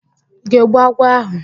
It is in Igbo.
Ị ga-egbu agwọ áhụ̀?